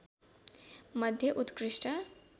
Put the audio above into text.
मध्ये उत्कृष्ट